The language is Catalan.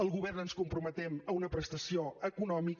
el govern ens comprometem a una prestació econòmica